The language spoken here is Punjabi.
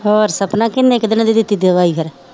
ਹੋਰ ਸਪਨਾ ਕਿੰਨੇ ਕੁ ਦਿਨਾਂ ਦੀ ਦਿੱਤੀ ਦਵਾਈ ਫਿਰ